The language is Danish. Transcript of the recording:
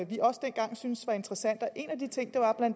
vi også dengang syntes var interessante og en af de ting